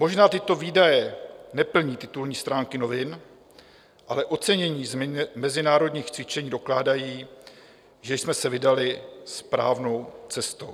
Možná tyto výdaje neplní titulní stránky novin, ale ocenění z mezinárodních cvičení dokládají, že jsme se vydali správnou cestou.